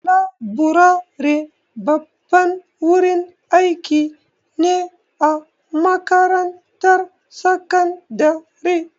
Laburare babban wurin aiki ne a makarantar sakandare.